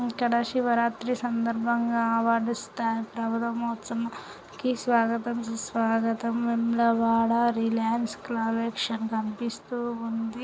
ఇక్కడ శివరాత్రి సందర్భంగా అవార్డు ఇస్తారు.. వేములవాడ నృత్యోత్సవం కి స్వాగతం సుస్వాగతం వేములవాడ రిలయన్స్ కలెక్షన్స్ కనిపిస్తోంది.